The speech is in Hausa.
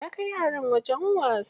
Ya kai yaran wajen wasa.